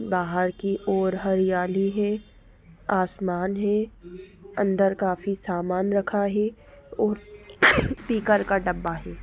बाहर की ओर हरियाली है आसमान है अंदर काफी सामान रखा है और स्पीकर का डब्बा है।